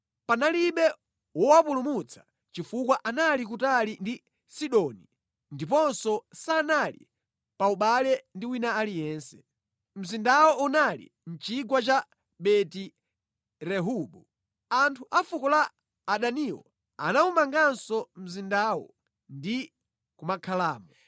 Panalibe wowapulumutsa chifukwa anali kutali ndi Sidoni ndiponso sanali pa ubale ndi wina aliyense. Mzindawo unali mʼchigwa cha Beti-Rehobu. Anthu a fuko la Adaniwo anawumanganso mzindawo ndi kumakhalamo.